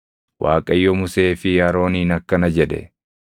Waaqayyo Musee fi Arooniin akkana jedhe;